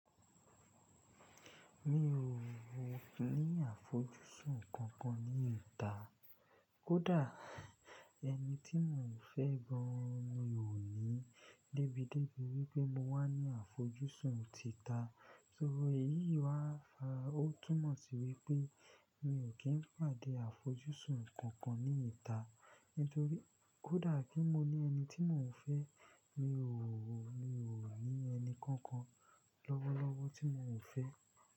Mi ò ó ni àfojúsùn kankan ní ìta. Kódà ẹni tí mò ń fẹ́ gan an ò ní débídébi wípé mo wà ní àfojúsùn títa. So èyí wá, ó túmọ̀ sí wípé mi ò kí ń pàdé àfojúsùn kankan ní ìta. Nítorí kódà kí mo ní ẹni tí mò ń fẹ́, mi ò ò, mi ò ní ẹni kankan lọ́wọ́lọ́wọ́ tí mò ń fẹ́.